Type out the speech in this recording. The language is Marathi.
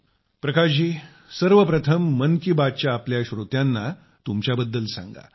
प्रकाश जी सर्वप्रथम मन की बात च्या आपल्या सर्व श्रोत्यांना तुमच्याबद्दल सांगा